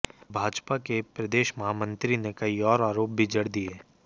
भाजपा के प्रदेश महामंत्री ने कई और आरोप भी जड़ दिये